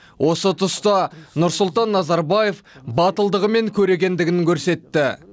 осы тұста нұрсұлтан назарбаев батылдығы мен көрегендігін көрсетті